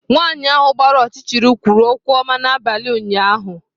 Nwanyị ahụ gbara ọchịchịrị kwuru okwu ọma n'abalị ụnyaahụ.